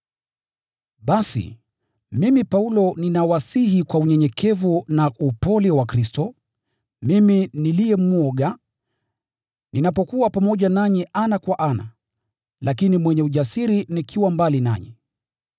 Basi, mimi Paulo ninawasihi kwa unyenyekevu na upole wa Kristo, mimi niliye “mwoga” ninapokuwa pamoja nanyi ana kwa ana, lakini mwenye ujasiri nikiwa mbali nanyi!